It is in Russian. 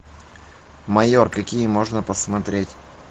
майор какие можно посмотреть